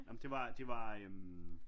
Ja men det var øh